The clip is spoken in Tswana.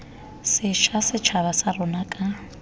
sešwa setšhaba sa rona ka